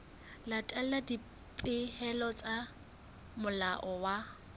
latela dipehelo tsa molao wa